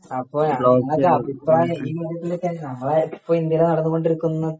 അപ്പൊ ഇങ്ങളൊക്കെ അഭിപ്രായം നമ്മടെ ഇപ്പൊ ഇന്ത്യടെ നടന്നുകൊണ്ടിരിക്കുന്ന